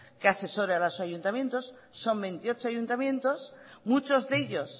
que asesore a los ayuntamientos son veintiocho ayuntamientos muchos de ellos